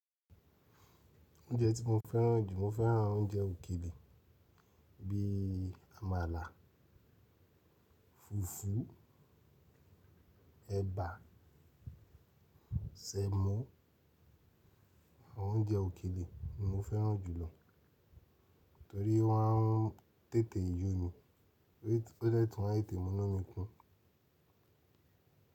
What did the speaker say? Oúnjẹ tí mo fẹ́ràn jù, mo fẹ́ràn oúnjẹ òkèlè bí i àmàlà, fùfú, ẹ̀bà, sẹ̀mọ́. Àwọn oúnjẹ òkèlè ni mo fẹ́ràn jùlọ torí wọ́n á ń tètè yo mi, ó de tun má te te mú inu kun.